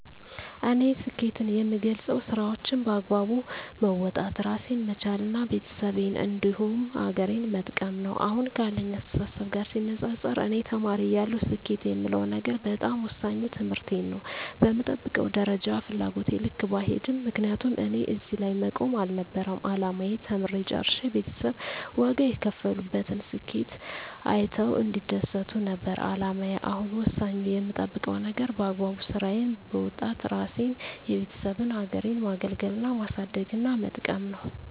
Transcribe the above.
እኔ ስኬትን የምገልፀው ስራዎቸን በአግባቡ መወጣት እራሴን መቻል እና ቤተሰቤን እንዲሁም ሀገሬን መጥቀም ነው። አሁን ካለኝ አስተሳሰብ ጋር ሲነፃፀር እኔ ተማሪ እያለሁ ስኬት የምለው ነገር በጣም ወሳኙ ትምህርቴን ነው በምጠብቀው ደረጃና ፍላጎቴ ልክ ባይሄድም ምክንያቱም እኔ እዚህ ላይ መቆም አልነበረም አላማዬ ተምሬ ጨርሸ ቤተሰብ ዋጋ የከፈሉበትን ስኬቴን አይተው እንዲደሰቱ ነበር አላማዬ አሁን ወሳኙ የምጠብቀው ነገር በአግባቡ ስራዬን በወጣት እራሴንና የቤተሰቤን ሀገሬን ማገልገልና ማሳደግና መጥቀም ነው።